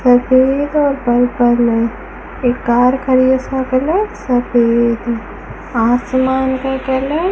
एक कार खड़ी है उसका कलर सफेद आसमान का कलर --